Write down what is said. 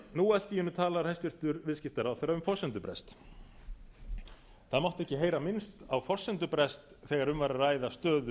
nú allt í einu talar hæstvirtur viðskiptaráðherra um forsendubrest það mátti ekki heyra minnst á forsendubrest þegar um var að ræða stöðu